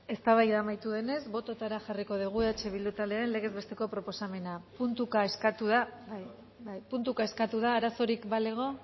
eztabaida amaitu denez bototara jarriko dugu eh bildu taldearen legez besteko proposamena puntuka eskatu da bai puntuka eskatu da arazorik balego